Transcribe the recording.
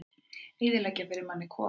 Eyðileggja fyrir manni kofana!